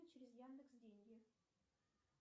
через яндекс деньги